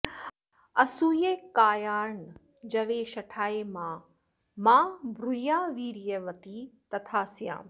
असूयकायानृजवे शठाय मा मा ब्रूया वीर्यवती तथा स्याम्